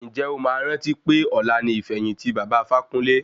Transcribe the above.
Ǹjẹ́ o máa rántí pé ọ̀la ni ìfẹ̀yìntì baba Ifákúnle?